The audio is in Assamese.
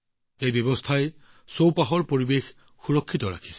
ইয়াৰ ফলত পৰিৱেশৰো যথেষ্ট সঞ্চয় হৈছে